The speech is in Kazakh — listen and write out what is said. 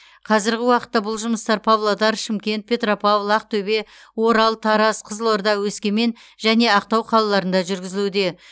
қазіргі уақытта бұл жұмыстар павлодар шымкент петропавл ақтөбе орал тараз қызылорда өскемен және ақтау қалаларында жүргізілуде